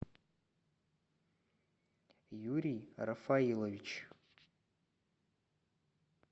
юрий рафаилович